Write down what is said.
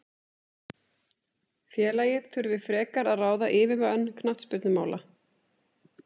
Félagið þurfi frekar að ráða yfirmann knattspyrnumála.